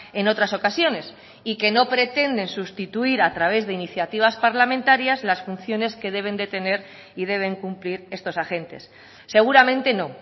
en otras ocasiones y que no pretenden sustituir a través de iniciativas parlamentarias las funciones que deben de tener y deben cumplir estos agentes seguramente no